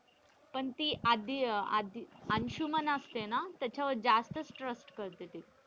पण ती आधी आधी अंशुमन असते ना त्याच्या वर जास्त trust करते ती.